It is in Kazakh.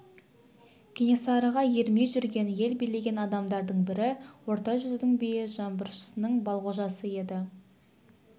кенесарыға ермей жүрген ел билеген адамдардың бірі орта жүздің биі жаңбыршының балғожасы еді